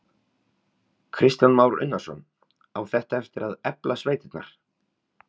Kristján Már Unnarsson: Á þetta eftir að efla sveitirnar?